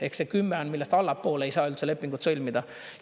Ehk see 10 on, millest allapoole ei saa üldse lepingut sõlmida.